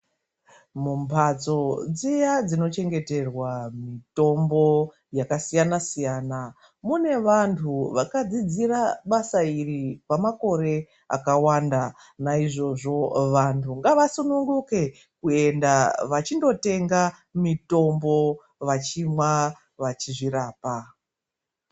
Mumbatso dziya dzinochengeterwa mitombo yakasiyana siyana, mune vantu vakadzidzira basa iri kwemakore akawanda. Naizvozvo vantu ngavasununguke kuenda vachindotenga mitombo, vachimwa vachizvirapa.